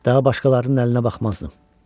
Daha başqalarının əlinə baxmazdım.